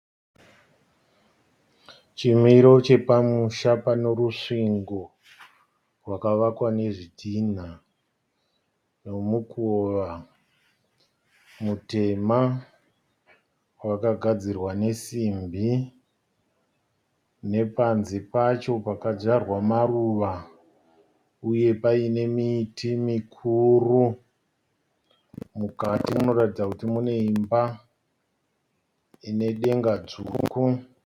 Chimiro chepamusha pane rusvingo rwakavakwa nezvidhinha nemukova mutema wakagadzirwa nesimbi. Nepanze pacho pakadzvarwa maruva uye paine miti mikuru, mukati munotaridza kuti mune imba inedenga dzvuku.